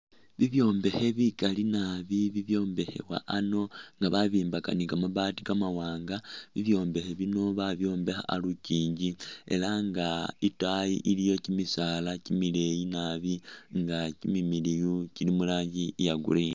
Bibyombekhe bikali nabi bibyombekhewa ano nga babyombekha ni kamabaati kamawaanga. Bibyombekhe bino babyombekha a'lukyinji ela nga itayi iliyo kyimisaala kyimileeyi nabi nga kyimimiliyu kyili mu ranji iya green .